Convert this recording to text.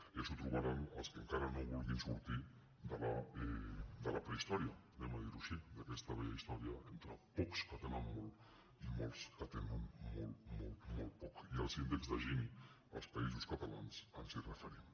ja s’ho trobaran els que encara no vulguin sortir de la prehistòria anem a dirho així d’aquesta vella història entre pocs que tenen molt i molts que tenen molt molt poc i als índex de gini als països catalans ens hi referim